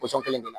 Pɔsɔn kelen de la